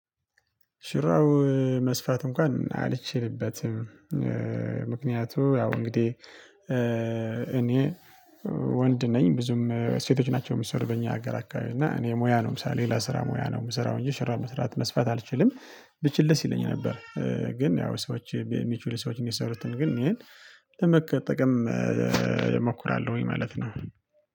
ሹራብ መስፋት እንኳን አልችልበትም። ምክንያቱ ያው እንግዲህ እኔ ወንድ ነኝ ብዙም ሴቶች ናቸው የሚሰሩ በእኛ ሀገር አካባቢ እና እኔ ሙያ ነው። ምሳሌ ሌላ ስራ ሙያ ነው የምሰራው እንጂ ሽራ መስራት መስፋት አልችልም። ብችል ደስ ይለኝ ነበር። ግን ያው ሰዎች የሚችሉ ሰዎችን እንዲሰሩት ግን ይሄን ለመጠቀም እሞክራለሁኝ ማለት ነው።